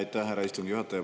Aitäh, härra istungi juhataja!